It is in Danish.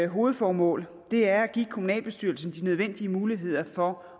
hovedformål er at give kommunalbestyrelsen de nødvendige muligheder for